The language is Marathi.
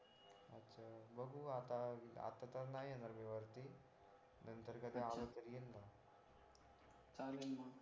बघू आता आता तर नाही येणार मी वरती नंतर कधी आलो तर येईन मग चालेल ना